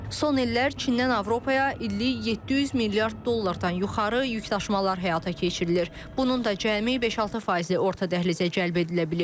Son illər Çindən Avropaya illik 700 milyard dollardan yuxarı yükdaşımalar həyata keçirilir, bunun da cəmi 5-6 faizi orta dəhlizə cəlb edilə bilib.